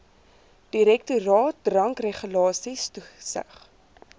direktoraat drankregulasies toesig